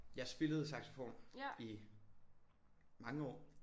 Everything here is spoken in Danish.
Jeg spillede saxofon i mange år